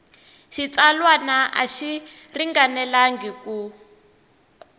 xitsalwana a xi ringanelangi ku